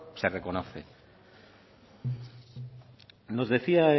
se reconoce nos decía